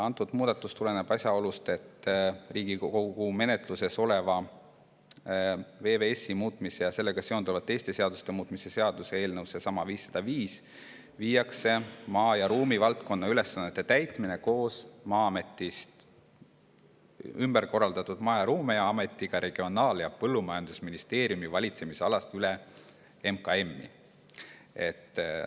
See muudatus tuleneb asjaolust, et Riigikogu menetluses oleva VVS-i muutmise ja sellega seonduvalt teiste seaduste muutmise seaduse eelnõu kohaselt – eelmainitud 505 – viiakse maa- ja ruumivaldkonna ülesannete täitmine koos Maa-ametist ümber korraldatud Maa- ja Ruumiametiga Regionaal- ja Põllumajandusministeeriumi valitsemisalast üle MKM-i.